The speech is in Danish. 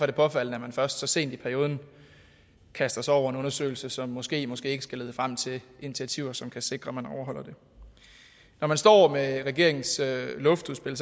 det påfaldende at man først så sent i perioden kaster sig over en undersøgelse som måske måske ikke skal lede frem til initiativer som kan sikre at man overholder det når man står med regeringens luftudspil